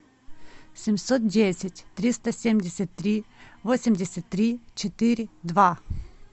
семьсот десять триста семьдесят три восемьдесят три четыре два